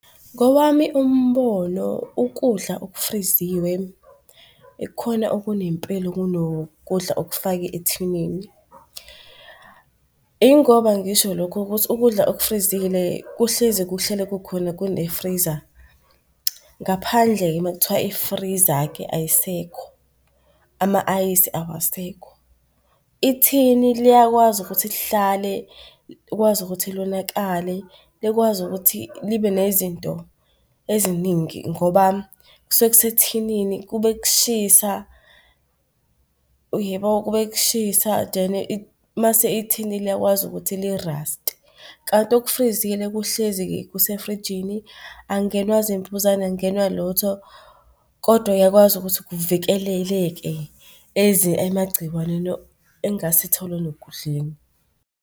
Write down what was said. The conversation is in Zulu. Ngowami umbono ukudla okufriziwe ikhona okunempilo kunokudla okufake thinini. Ingoba ngisho lokhu ukuthi ukudla okufrizile kuhlezi kuhlele kukhona kune-freezer. Ngaphandle-ke mekuthiwa i-freezer-ke ayisekho, ama-ayisi awasekho. Ithini liyakwazi ukuthi lihlale likwazi ukuthi lonakale likwazi ukuthi libe nezinto eziningi ngoba kuseke kusethinini kube kushisa, uyabo? Kube kushisa, then mase ithini liyakwazi ukuthi liraste kanti okufrizile kuhlezi kusefrijini angenwa zimbuzane, angenwa lutho kodwa uyakwazi ukuthi kuvikeleleke emagciwanini engasithole nokudleni.